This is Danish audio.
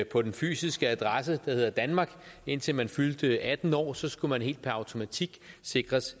på den fysiske adresse der hedder danmark indtil man fyldte atten år så skulle man helt per automatik sikres